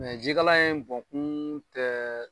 ji kalan in bɔnkuun tɛɛ